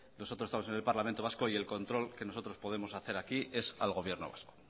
nosotros estamos en el parlamento vasco y el control que nosotros podemos hacer aquí es al gobierno vasco